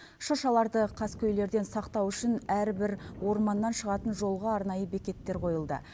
шыршаларды қаскөйлерден сақтау үшін әрбір орманнан шығатын жолға арнайы бекеттер қойылды